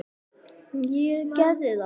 Góður pabbi að minnsta kosti.